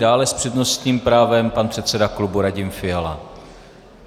Dále s přednostním právem pan předseda klubu Radim Fiala.